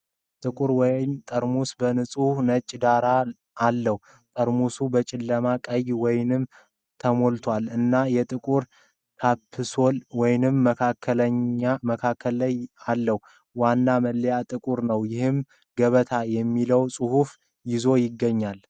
ጥቁር ወይን ጠርሙስ በንፁህ ነጭ ዳራ አለው። ጠርሙሱ በጨለማ ቀይ ወይን ተሞልቷል እና የጥቁር ካፕሱል ወይም መከላከያ አለው። ዋናው መለያ ጥቁር ነው፤ ይህም “ገበታ” የሚለውን ጽሑፍ ይዞ ይገኛል።